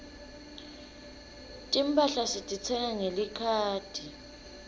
timphahla sititsenga ngelikhadi